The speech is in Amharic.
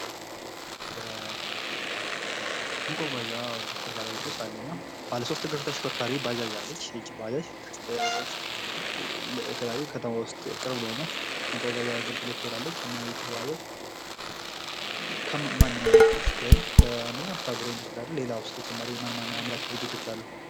መጓጓዣዎች መካከል አንዱ ባጃጅ ሲሆን በቅርብ ከተማዎች ይጠቀሙባቸዋል። እነዚህ መጓጓዣዎች የት ይመረታሉ?